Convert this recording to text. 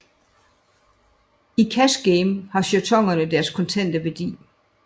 I cash game har jetonerne deres kontante værdi